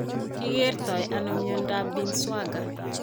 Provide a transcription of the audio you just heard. Ki kerto ano myentaap Binswanger?